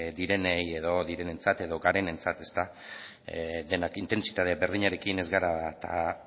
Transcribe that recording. direnei edo direnentzat edo garenentzat denak intentsitate berdinarekin ez baikara